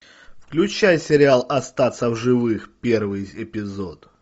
включай сериал остаться в живых первый эпизод